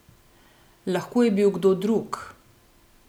Lahko je bil kdo drug.